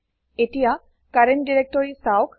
এতিয়া current directory চাওক